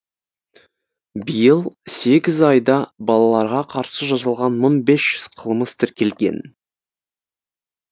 биыл сегіз айда балаларға қарсы жасалған мың бес жүз қылмыс тіркелген